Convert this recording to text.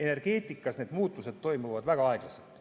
Aga energeetikas toimuvad muutused väga aeglaselt.